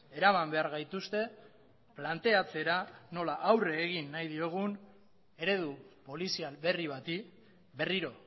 eraman behar gaituzte planteatzera nola aurre egin nahi diogun eredu polizial berri bati berriro